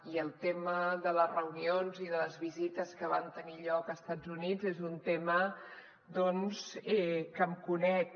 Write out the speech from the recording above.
i el tema de les reunions i de les visites que van tenir lloc a estats units és un tema doncs que em conec